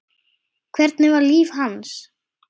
Hvernig var líf hans?